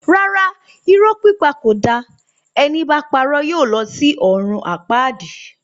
Rárá, Irọ pípà kó dà, ẹni bà pàró yio lò sí òrún àpàdí